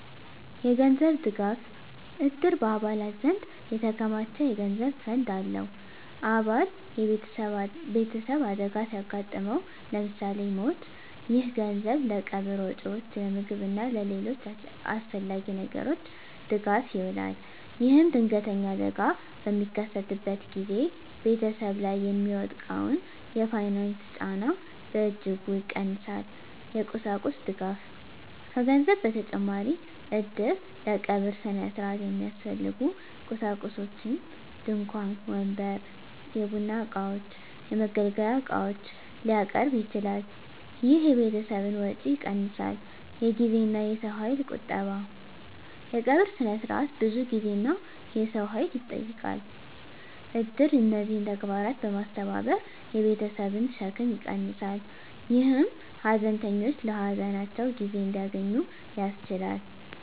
የገንዘብ ድጋፍ: እድር በአባላት ዘንድ የተከማቸ የገንዘብ ፈንድ አለው። አባል ቤተሰብ አደጋ ሲያጋጥመው (ለምሳሌ ሞት)፣ ይህ ገንዘብ ለቀብር ወጪዎች፣ ለምግብ እና ለሌሎች አስፈላጊ ነገሮች ድጋፍ ይውላል። ይህም ድንገተኛ አደጋ በሚከሰትበት ጊዜ ቤተሰብ ላይ የሚወድቀውን የፋይናንስ ጫና በእጅጉ ይቀንሳል። የቁሳቁስ ድጋፍ: ከገንዘብ በተጨማሪ እድር ለቀብር ሥነ ሥርዓት የሚያስፈልጉ ቁሳቁሶችን (ድንኳን፣ ወንበር፣ የቡና እቃዎች፣ የመገልገያ ዕቃዎች) ሊያቀርብ ይችላል። ይህ የቤተሰብን ወጪ ይቀንሳል። የጊዜና የሰው ኃይል ቁጠባ: የቀብር ሥነ ሥርዓት ብዙ ጊዜና የሰው ኃይል ይጠይቃል። እድር እነዚህን ተግባራት በማስተባበር የቤተሰብን ሸክም ይቀንሳል፣ ይህም ሀዘንተኞች ለሀዘናቸው ጊዜ እንዲያገኙ ያስችላል።